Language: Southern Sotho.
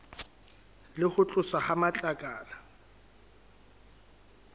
le ho tloswa ha matlakala